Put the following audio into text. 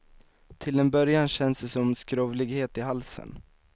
Till en början känns det som skrovlighet i halsen.